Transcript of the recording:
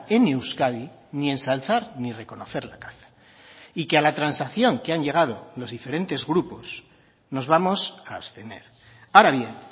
en euskadi ni ensalzar ni reconocer la caza y que a la transacción que han llegado los diferentes grupos nos vamos a abstener ahora bien